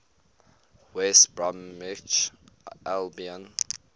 west bromwich albion